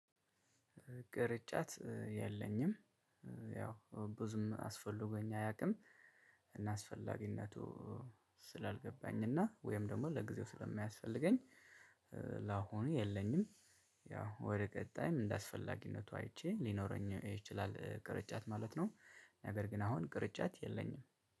ቅርጫት የለኝም ያው ብዙም አስፈልጎኝ አያውቅም እና አስፈላጊነቱ ስላልገባኝ እና ወይም ደግሞ ለጊዜው ስለማያስፈልገኝ ላሁኑ የለኝም ያው ወደ ቀጣይም እንደ አስፈላጊነቱ አይቼ ሊኖረኝ ይችላል ቅርጫት ማለት ነው ነገር ግን አሁን ቅርጫት የለኝም።